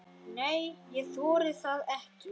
Nei, ég þori það ekki.